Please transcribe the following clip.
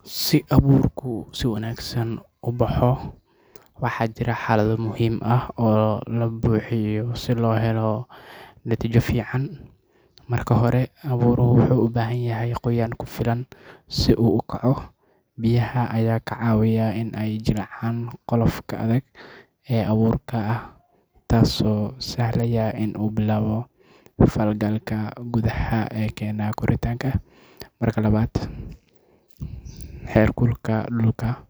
Si abuurku si wanaagsan u baxo waxaa jira xaalado muhiim ah oo la buuxiyo si loo helo natiijo fiican. Marka hore, abuurku wuxuu u baahan yahay qoyaan ku filan si uu u kaco. Biyaha ayaa ka caawiya in ay jilcaan qolofka adag ee abuurka ah taasoo sahlaysa in uu bilaabo falgalka gudaha ee keena koritaanka. Marka labaad, heerkulka dhulka